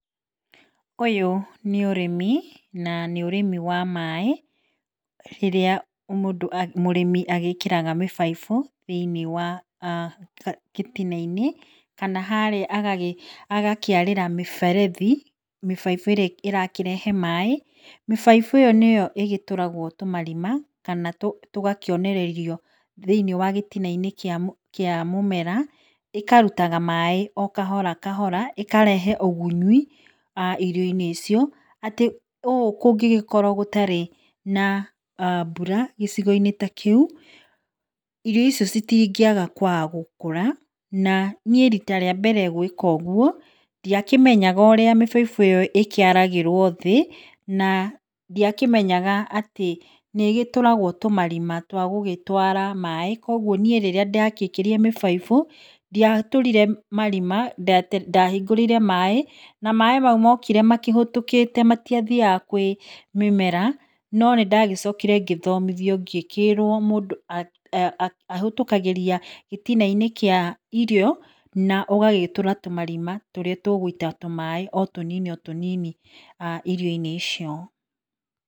Ũyũ nĩ ũrĩmi na nĩ ũrimi wa maĩ ũrĩa mũrĩmi agĩkĩraga mĩbaibũ thĩiniĩ wa gĩtinainĩ kana harĩa agakĩarĩra mĩberethi mĩbaibũ ĩrĩa ĩrakĩrehe maĩ. Mĩbaibũ ĩyo nĩo ĩgĩtũragwo tũmarima tũgakĩonererio thĩiniĩ wa gĩtina -inĩ kĩa mũmera ĩkarutaga maĩ okahora kahora ĩkarehe ũgunyi irio inĩ icio atĩ ũũ kũngũgĩkorwo gũtarĩ na mbura gĩcigo inĩ kĩu irio icio citingĩaga gũkũra na niĩ rita rĩa mbere gwĩka guo ndiakĩmenyaga ũrĩa mĩbaibũ ũkĩaragĩrwo thĩ na ndĩakĩmenyaga atĩ nĩ gĩtũragwo tũmarima twa gũgĩtwara maĩ koguo rĩrĩa ndakĩrire mĩbaibũ ndiatũrire marima ndahingũrĩire maĩ. Maĩ mau mokire mahĩtũkĩte matiathiaga kwĩ mũmera no nĩndacokire ngĩthomithio ngĩkĩrwo mũndũ ahũtũkagĩrio gĩtinainĩ kĩa irio na ũgagĩtũra tũmarima tũrĩa tũgũita tumaĩ o tũnini o tũnini irio -inĩ icio